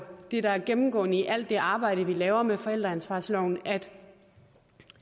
det der er det gennemgående i alt det arbejde vi laver med forældreansvarsloven at